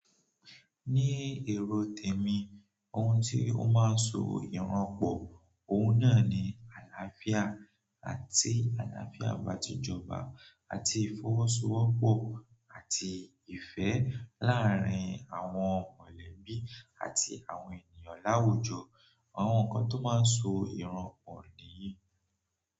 Ní èrò tèmi, ohun tí ó máa ń so ìranpọ̀, òun náà ni àlàáfíà àti àlàáfíà ìbàjẹ́ ọba àti ìfọwọ́sowọ́pọ̀ àti ìfẹ́ láàárín àwọn mọ̀lẹ́bí àti àwọn ènìyàn láwùjọ. Àwọn nǹkan tó máa ń so ìranpọ̀ nìyí.